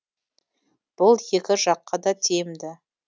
бұл екі жаққа да тиімді